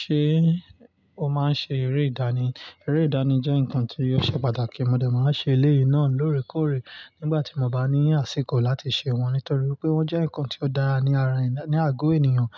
Ṣé o máa ń ṣe eré ìdánì? Eré ìdánì jẹ́ nǹkan tí ọṣẹ pàtàkì. Mo de máa ń ṣe eléyìí náà lóòrèkóòrè nígbà tí mo bá ní àsìkò láti ṣẹ wọ́n, nítorí pé wọ́n jẹ́ ǹkan tí ó dára ní ara ní àgọ́ ènìyàn.